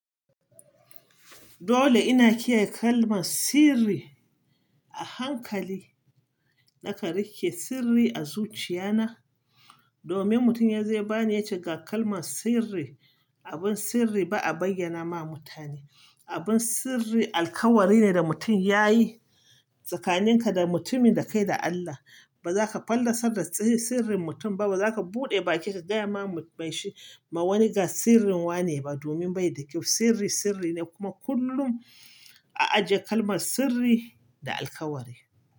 Dole ina kiyaye kalmar sirri a hankali. Nakan rike sirri a zuciya na domin mutum yanzu ya bani yace ga kalmar sirri. Abin sirri ba a bayyana ma mutane. Abin sirri alkawari ne da mutum yayi tsakanin ka da mutumin da kai da Allah. Ba za ka fallasar da sirrin mutum ba, ba za ka buɗe baki ka gaya ma wani ga sirrin wane ba domin bai da kyau. Sirri sirri ne kuma kullum a ajiye kalmar sirri da alkawari.